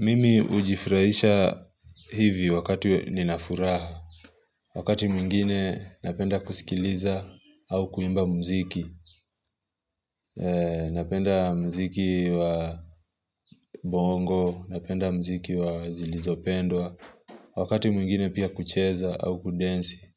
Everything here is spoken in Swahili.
Mimi hujifurahisha hivyo wakati nina furaha, wakati mwingine napenda kusikiliza au kuimba mziki, napenda mziki wa bongo, napenda mziki wa zilizopendwa, wakati mwingine pia kucheza au kudensi,